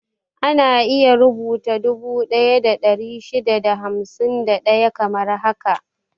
Ana rubuta dubu daya da ɗari shida da hamsin da ɗaya kamar haka 1,651.